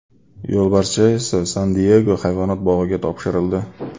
Yo‘lbarscha esa San-Diyego hayvonot bog‘iga topshirildi.